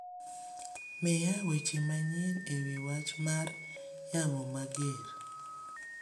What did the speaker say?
miya weche manyien ewi wach mar yamo mager